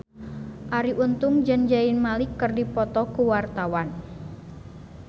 Arie Untung jeung Zayn Malik keur dipoto ku wartawan